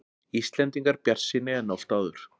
Íslendingar bjartsýnni en oft áður